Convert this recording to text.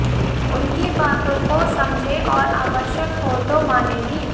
उनकी बातों को समझें और आवश्यक हो तो माने भी